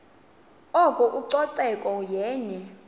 oko ucoceko yenye